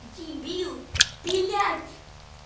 дебил блять